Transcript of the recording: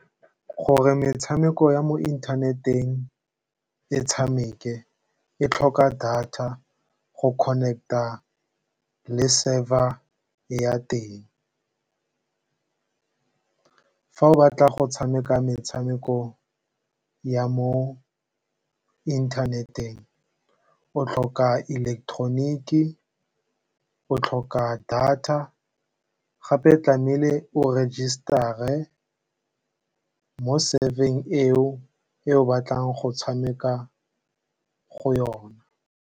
Gore metshameko ya mo inthaneteng e tshameke, e tlhoka data go connect-a le server ya teng. Fa o batla go tshameka metshameko ya mo inthaneteng, o tlhoka electronic-e, o tlhoka data, gape tlame'ile o rejistare mo server-eng eo, e o batlang go tshameka go yona.